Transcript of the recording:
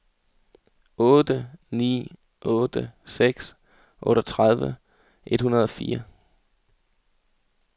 otte ni otte seks otteogtredive et hundrede og fire